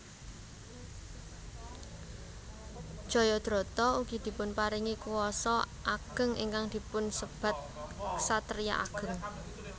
Jayadrata ugi dipunparingi kuwasa ageng ingkang dipun sebat ksatriya ageng